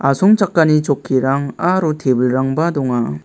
asongchakani chokkirang aro tebilrangba donga.